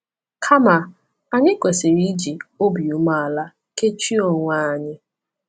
Kama, anyị kwesịrị iji “obi umeala” kechie onwe anyị.